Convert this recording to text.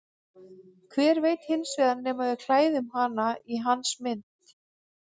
Hver veit hins vegar nema við klæðum hana í hans mynd.